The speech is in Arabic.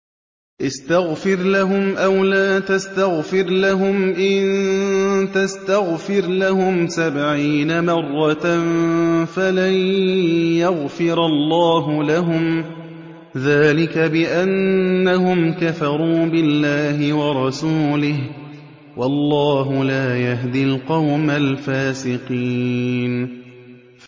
اسْتَغْفِرْ لَهُمْ أَوْ لَا تَسْتَغْفِرْ لَهُمْ إِن تَسْتَغْفِرْ لَهُمْ سَبْعِينَ مَرَّةً فَلَن يَغْفِرَ اللَّهُ لَهُمْ ۚ ذَٰلِكَ بِأَنَّهُمْ كَفَرُوا بِاللَّهِ وَرَسُولِهِ ۗ وَاللَّهُ لَا يَهْدِي الْقَوْمَ الْفَاسِقِينَ